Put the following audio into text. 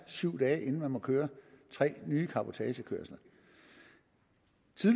syv dage inden man må køre tre nye cabotagekørsler